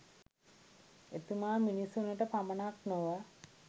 එතුමා මිනිසුනට පමණක් නොව